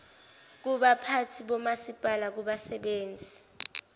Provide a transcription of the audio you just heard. kubaphathi bomasipala kubasebenzi